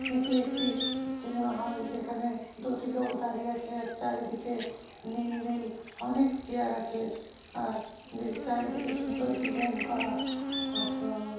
এটি একটি স সিনেমা হল যেখানে দুটি লোক দাঁড়িয়ে আছে আর চারিদিকে নীল নীল অনেক চেয়ার আছে আর দি চারিদিকে সুন্দর ডিজাইন করা অস--